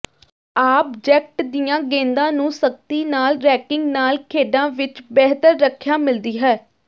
object ਦੀਆਂ ਗੇਂਦਾਂ ਨੂੰ ਸਖਤੀ ਨਾਲ ਰੈਕਿੰਗ ਨਾਲ ਖੇਡਾਂ ਵਿਚ ਬਿਹਤਰ ਰੱਖਿਆ ਮਿਲਦੀ ਹੈ